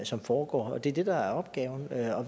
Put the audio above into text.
som foregår det er det der er opgaven hver